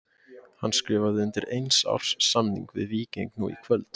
Hann skrifaði undir eins árs samning við Víking nú í kvöld.